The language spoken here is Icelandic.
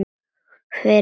Fyrir hádegi.